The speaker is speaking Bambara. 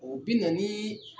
O bi na ni